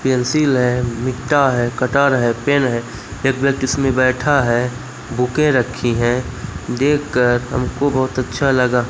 pencil है मिट्टा है कटर है पेन है एक व्यक्ति इसमें बैठा है बुकें रखी हैं देखकर हमको बहोत अच्छा लगा--